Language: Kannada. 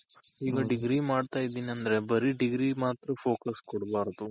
ಈಗ degree ಮಾಡ್ತಾ ಇದ್ದೀನಿ ಅಂದ್ರೆ ಬರಿ degree ಗ್ ಮಾತ್ರ focus ಕೊಡ್ಬಾರ್ದು.